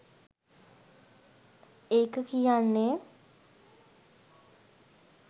ඒක කියන්නෙ